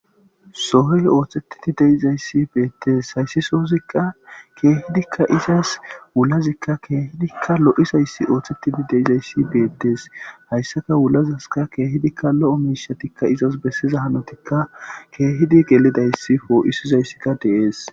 Sohi oththtetid deizayis beteesi hayis sozikka kehidikka izas wulazasikka kehidikka oththetid loizayis kehippe oththetid deizayisikka betees hayisa wulazasikka kehippe loiza mishshatikka izasa besiza hanotatikka kehippe gelidayisi poisizayisikka dees